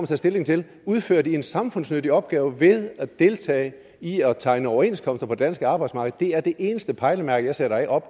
tage stilling til udfører de en samfundsnyttig opgave med at deltage i at tegne overenskomster på det danske arbejdsmarked det er det eneste pejlemærke jeg sætter op